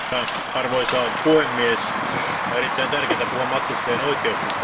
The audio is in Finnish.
Arvoisa puhemies, on erittäin tärkeää puhua matkustajien oikeuksista.